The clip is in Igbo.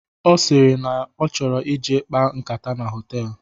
Ọ sịrị na ọ chọrọ ije kpaa nkata na hoteelu